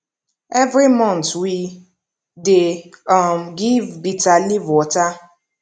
every month we dey um give bitter leaf water